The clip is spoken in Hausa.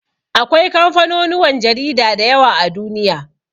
Akwai kamfanonuwan jarida da yawa a Duniya.